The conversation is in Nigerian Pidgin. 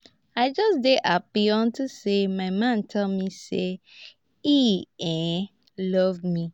i just dey happy unto say my man tell me say he um love me